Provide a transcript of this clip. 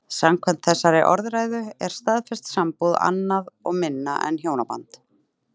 Samkvæmt þessari orðræðu er staðfest sambúð annað og minna en hjónaband.